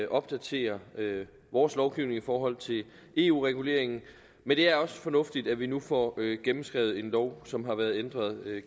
opdaterer vores lovgivning i forhold til eu reguleringen men det er også fornuftigt at vi nu får gennemskrevet en lov som har været ændret